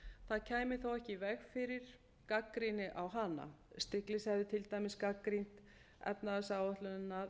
það kæmi þó ekki í veg fyrir gagnrýni á hana stiglitz hefði til dæmis gagnrýnt efnahagsáætlunina